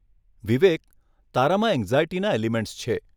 વિવેક તારામાં એંગઝાયટીના એલિમેંટ્સ છે.